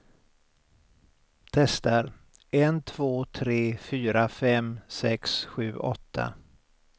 Testar en två tre fyra fem sex sju åtta.